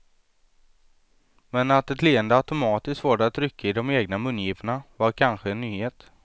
Men att ett leende automatiskt får det att rycka i de egna mungiporna var kanske en nyhet.